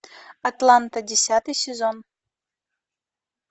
атланта десятый сезон